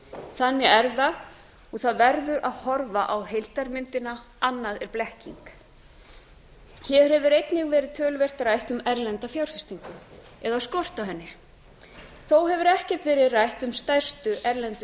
þannig er það og það verður að horfa á heildarmyndina annað er blekking hér hefur einnig verið töluvert rætt um erlenda fjárfestingu eða skort á henni þó hefur ekkert verið rætt um stærstu erlendu